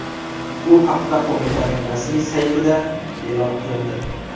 Bu haqda qo‘mitaning rasmiy saytida e’lon qilindi .